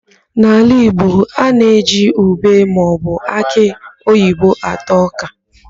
N'ala Igbo, a na-eji ùbé maọbụ akị oyibo ata ọ́kà.